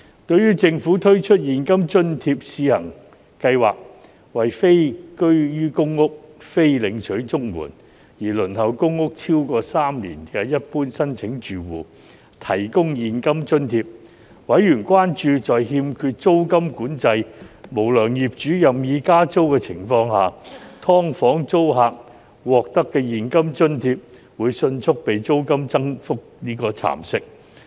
對於政府推出現金津貼試行計劃，為非居於公屋、非領取綜援而輪候公屋超過3年的一般申請住戶提供現金津貼，委員關注在欠缺租金管制和無良業主任意加租的情況下，"劏房"租客獲得的現金津貼會迅速被租金增幅蠶食。